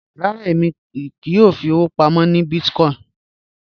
Rárá, èmi kíì yọ́ò fí ọ̀wọ̀ pámọ̀ ní bíìtìkòìn